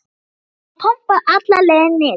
ef hún pompaði alla leið niður.